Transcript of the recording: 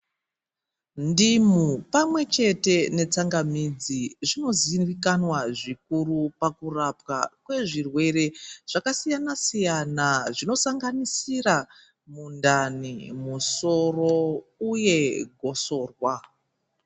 Ndimu pamwechete netsangamidzi zvinoziikanwa zvikuru pakupwa kwezvirwere zvakasiyana siya zvinosanganisira mundani, musoro uye gotsorwa.